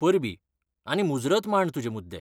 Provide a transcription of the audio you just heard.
परबीं आनी मुजरत मांड तुजे मुद्दे.